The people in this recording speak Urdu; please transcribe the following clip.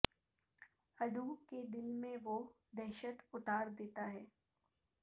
عدو کے دل میں وہ دہشت اتار دیتا ہے